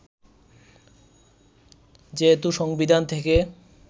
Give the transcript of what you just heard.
যেহেতু সংবিধান থেকে